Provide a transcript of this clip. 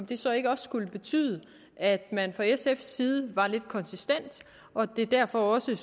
det så ikke også betyde at man fra sfs side var lidt konsistent og at det derfor også